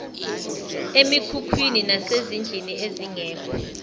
emikhukhwini nasezindlini ezingekho